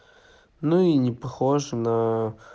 ну и не похож на